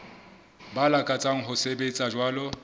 ba lakatsang ho sebetsa jwalo